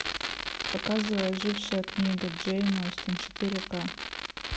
показывай ожившая книга джейн остин четыре к